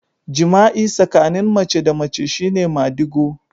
Jima'i tsakanin mace da mace shi ne madigo